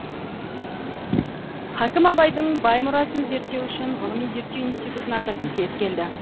хакім абайдың бай мұрасын зерттеу үшін ғылыми зерттеу институтын ашатын кез келді